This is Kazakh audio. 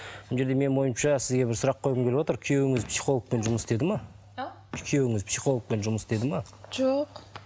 мына жерде менің ойымша сізге бір сұрақ қойғым келіп отыр күйеуіңіз психологпен жұмыс істеді ме а күйеуіңіз психологпен жұмыс істеді ме жоқ